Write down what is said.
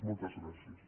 moltes gràcies